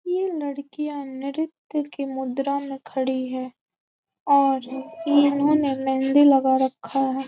ये लड़किया नृत्य की मुद्रा में खड़ी है और इन्होने मेंहदी लगा रक्खा है।